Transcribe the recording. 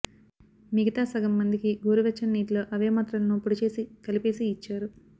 మిగతా సగం మందికి గోరు వెచ్చని నీటిలో అవే మాత్రలను పొడి చేసి కలిపేసి ఇచ్చారు